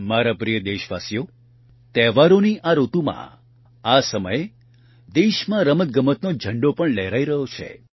મારા પ્રિય દેશવાસીઓ તહેવારોની આ ઋતુમાં આ સમયે દેશમાં રમતગમતનો ઝંડો પણ લહેરાઇ રહ્યો છે